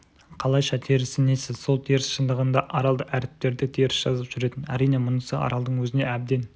қалайша терісі несі сол теріс шындығында арал әріптерді теріс жазып жүретін әрине мұнысы аралдың өзіне әбден